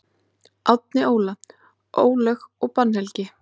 Árni Óla: Álög og bannhelgi.